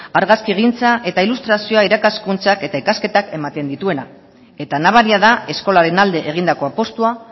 argazkigintza eta ilustrazioa irakaskuntza eta ikasketak ematen dituena eta nabaria da eskolaren alde egindako apustua